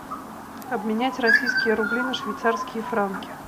обменять российские рубли на швейцарские франки